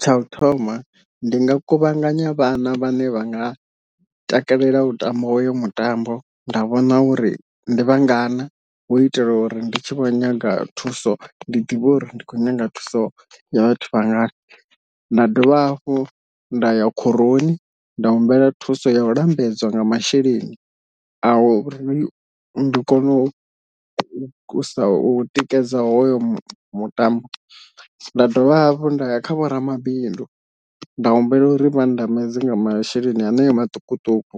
Tsha u thoma ndi nga kuvhanganya vhana vhane vha nga takalela u tamba hoyo mutambo nda vhona uri ndi vha ngana u itela uri ndi tshi vho nyaga thuso ndi ḓivhe uri ndi khou nyaga thuso ya vhathu vha ngana, nda dovha hafhu nda ya khoroni nda humbela thuso ya u lambedzwa nga masheleni a u ri ndi kone u sa u tikedza hoyo mutambo, nda dovha hafhu ndaya kha vho ramabindu nda humbela uri vha ndambedze nga masheleni haneo maṱukuṱuku